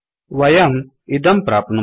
वयम् इदं प्राप्नुमः